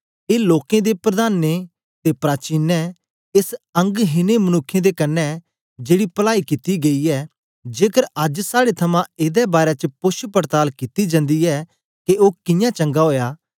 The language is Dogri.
ए लोकें दे प्रधानो ते प्राचीन एस अंग हिनें मनुक्ख दे कन्ने जेड़ी पलाई कित्ती गई ऐ जेकर अज्ज साड़े थमां एदे बारै च पोछपड़ताल कित्ती जंदी ऐ के ओ कियां चंगा ओया